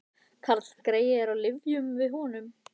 Karlgreyið er á lyfjum við honum